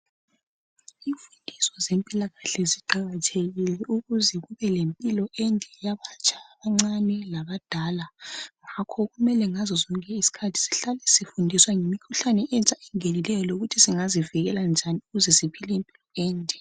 Imfundiso yezempilakahle ziqakathekile. Ukuze kube lempilo. enhle yabatsha yabancane labadala. Ngakho sonke isikhathi kumele sihlale sifundiswa ngemikhuhlane emitsha engenikeyo. Lokuthi singazivikela njani, ukuze asiphile impilo ende.